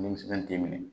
Denmisɛn t'i minɛ